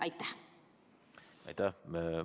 Aitäh!